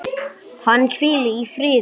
Hann hvíli í friði.